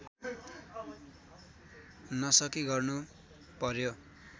नसकी गर्नु पर्‍यो